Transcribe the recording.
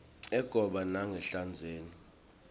egoba kangasehlandzeni